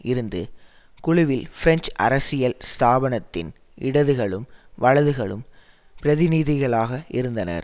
இருந்து குழுவில் பிரெஞ்சு அரசியல் ஸ்தாபனத்தின் இடதுகளும் வலதுகளும் பிரதிநிதிகளாக இருந்தனர்